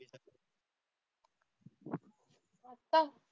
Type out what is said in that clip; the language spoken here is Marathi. आता